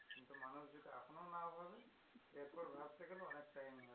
কিন্তু মানুষ যদি এখনো না ভাবে তো এরপর ভাবতে গেলে অনেক time